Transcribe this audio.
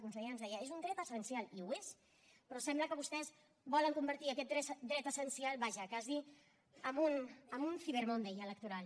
la consellera ens deia és un dret essencial i ho és però sembla que vostès volen convertir aquest dret essencial vaja quasi en un cyber monday electoral